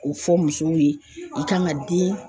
K'o fɔ musow ye i kan ka den